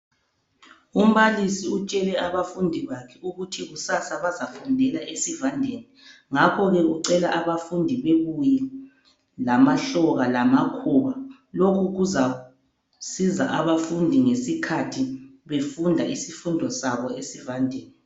Umbalisi utshele abafundi bakhe ukuthi kusasa bazafundela esivandeni. Ngakho-ke ucela abafundi babuye lamahloka lamakhuba. Lokhu kuzasiza abafundi ngesikhathi befunda isifundo sabo esivandeni.